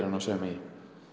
sauma í en